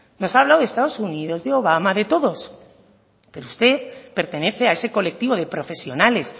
nos ha hablado de estado unidos de obama de todos pero usted pertenece a ese colectivo de profesionales